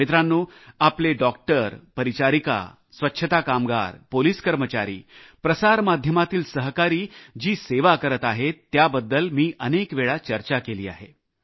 मित्रांनो आपले डॉक्टर परिचारिका स्वच्छता कामगार पोलीस कर्मचारी प्रसार माध्यमातील सहकारी जी सेवा करत आहेत त्याबद्दल मी अनेक वेळा चर्चा केली आहे